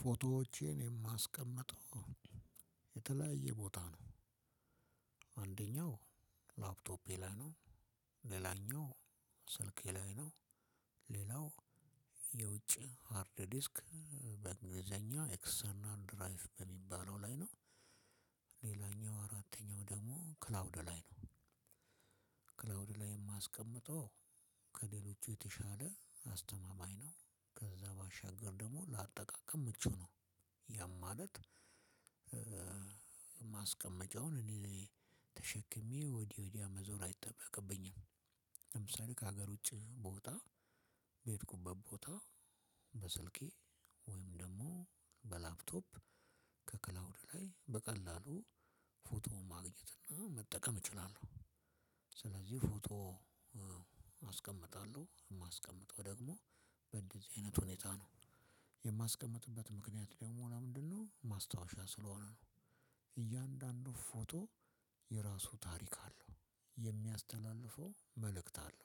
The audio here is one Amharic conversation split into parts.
ፎቶዎቼን የማስቀምጠው የተለያየ ቦታ ነው። አንደኛው ላፕቶፔ ላይ ነው። ሌላኛው ስልኬ ላይ ነው። ሌላው የውጭ ሃርድ ዲስክ በእግሊዘኛ ኤክሰርናል ድራይቭ በሚባለው ላይ ነው። ሌላኛው አራተኛው ደሞ ክላውድ ላይ ነው። ክላውድ ላይ ማስቀምጠው ከሌሎቹ የተሻለ አስተማማኝ ነው። ከዛ ባሻገር ደግሞ ለአጠቃቀም ምቹ ነው። ያም ማለት ማስቀመጫውን እኔ ተሸክሜ ወዲ ወዲያ መዞር አይጠበቅብኝም። ለምሳሌ ከሀገር ውጪ ብወጣ በሄድኩበት ቦታ በስልኬ ወይም ደግሞ በላፕቶፕ ከክላውድ ላይ በቀላሉ ፎቶ ማግኘት እና መጠቀም እችላለሁ። ስለዚህ ፎቶ አስቀምጣለሁ የማስቀምጠው ደግሞ በእንደዚህ አይነት ሁኔታ ነው። የማስቀምጥበት ምክንያት ደግሞ ለምንድነው ማስታወሻ ስለሆነ ነው። እያንዳንዱ ፎቶ የራሱ ታሪክ አለው የሚያስተላልፈው መልእክት አለው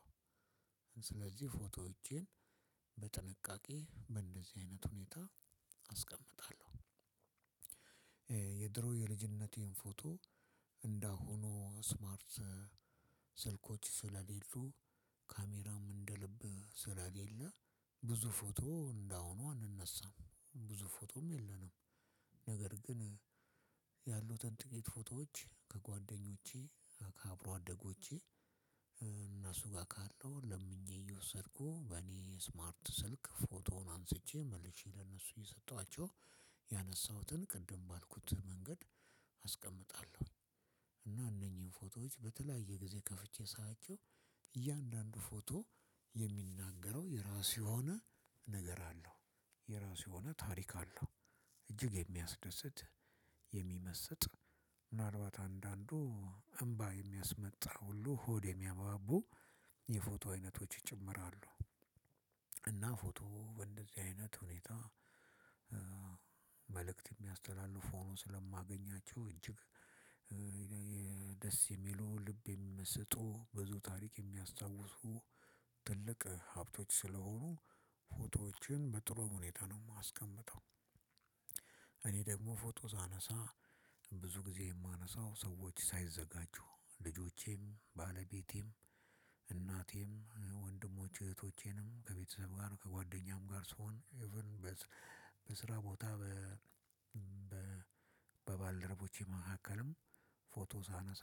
ስለዚህ ፎቶዎቼን በጥንቃቄ በእንደዚህ አይነት ሁኔታ አስቀምጣለሁ። የድሮ የልጅነቴን ፎቶ እንደ አሁኑ ስማርት ስልኮች ስለሌሉ ካሜራ እንደ ልብ ስለሌለ ብዙ ፎቶ እንደ አሁኑ አንነሳም ብዙ ፎቶም የለንም ነገር ግን ያሉትን ጥቂት ፎቶዎች ከጓደኞቼ ከአብሮ አደጎቼ እነሱ ጋር ካለው ለምኜ እየወሰድኩ በኔ ስማርት ስልክ ፎቶውን አንስቼ መልሼ ለእነሱ እየሰጠዋቸው ያነሳሁትን ቅድም ባልኩት መንገድ አስቀምጣለሁኝ። እና እነኚህን ፎቶዎች በተለያየ ጊዜ ከፍቼ ሳያቸው እያንዳንዱ ፎቶ የሚናገረው የራሱ የሆነ ነገር አለው:የራሱ የሆነ ታሪክ አለው:እጅግ የሚያስደስት፣ የሚመስጥ:ምናልባት አንዳንዱ እምባ የሚያስመጣ ሁሉ ሆድ የሚያባቡ የፎቶ አይነቶች ይጨምራሉ። እና ፎቶ በእንደዚህ አይነት ሁኔታ መልእክት የሚያስተላልፉ ሆኖ ስለማገኛቸው እጅግ ደስ የሚሉ ልብ የሚመስጡ ብዙ ታሪክ የሚያስታውሱ ትልቅ ሀብቶች ስለሆኑ ፎቶዎችን በጥሩ ሁኔታ ነው ማስቀምጠው እኔ ደግሞ ፎቶ ሳነሳ ብዙ ጊዜ የማነሳው ሰዎች ሳይዘጋጁ ልጆቼም ባለቤቴም እናቴም ወንድሞች እህቶቼንም ከቤተሰብ ጋር ከጓደኛም ጋር ስሆን ኢቭን በ በስራ ቦታ በ በባልደረቦቼ መሀከልም ፎቶ ሳነሳ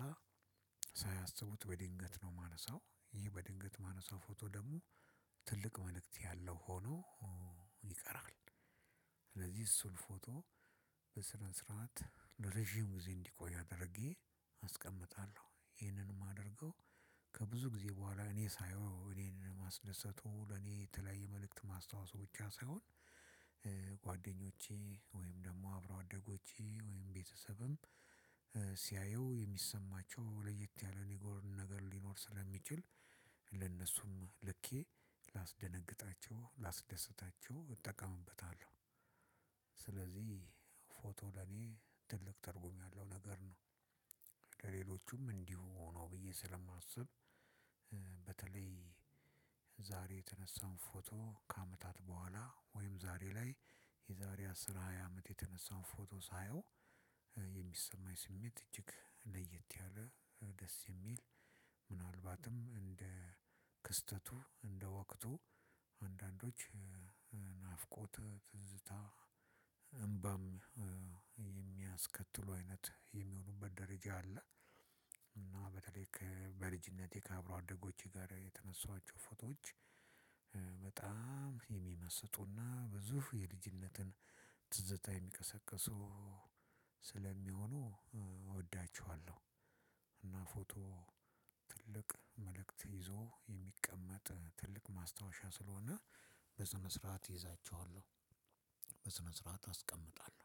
ሳያስቡት በድንገት ነው የማነሳው ይህ በድንገት የማነሳው ሰው ፎቶ ደግሞ ትልቅ መልእክት ያለው ሆኖ ይቀራል። ስለዚህ እሱን ፎቶ በስነ ስርዓት ለረጅም ጊዜ እንዲቆይ አድርጌ አስቀምጣለሁ ይህንንም የማደርገው ከብዙ ጊዜ በኋላ እኔ ሳየው እኔን ማስደሰቱ ለኔ የተለያየ መልእክት ማስታወሱ ብቻ ሳይሆን ጓደኞቼ ወይም አብሮ አደጎቼ ወይም ቤተሰብም ሲያየው የሚሰማቸው ለየት ያለ ነገር ነገር ሊሰማቸው ስለሚችል ለነሱ ልኬ ላስደነግጣቸው ላስደስታቸው እጠቀምበታለው። ስለዚህ ፎቶ ለኔ ትልቅ ትርጉም ያለው ነገር ነው። ለሌሎቹም እንዲሁ ነው ብዬ ስለማስብ በተለይ ዛሬ የተነሳን ፎቶ ከአመታት ቡኋላ ወይም ዛሬ ላይ የዛሬ አስራ ሃያ አመት የተነሳው ፎቶ ሳየው የሚሰማኝ ስሜት እጅግ ለየት ያለ ደስ የሚል ምናልባትም እንደ ክስተቱ እንደ ወቅቱ አንዳንዶች ናፍቆት ትዝታ እምባም የሚያስከትሉ አይነት የሚሆኑበት ደረጃ አለ እና በተለይ ከ በልጅነቴ ከአብሮ አደጎቼ ጋር የተነሷኀቸው ፎቶዎች በጣም የሚመስጡ እና ብዙፍ የልጅነትን ትዝታ የሚቀሰቅሱ ስለሚሆኑ እወዳችኀለው እና ፎቶ ትልቅ መልእክት ይዞ የሚቀመጥ ትልቅ ማስታወሻ ስለሆነ በስነ ስርዓት እይዛቸዋለሁ በስነ ስርዓት አስቀምጣለሁ።